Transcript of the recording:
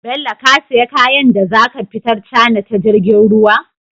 Bello ka siya kayan za zaka fitar china ta jirgin ruwa?